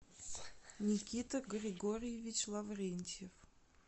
никита григорьевич лаврентьев